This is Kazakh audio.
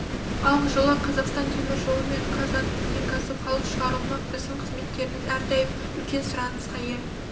ал жылы қазақстан темір жолы мен қазатомөнеркәсіп халық шығарылмақ біздің қызметтеріміз әрдайым үлкен сұранысқа ие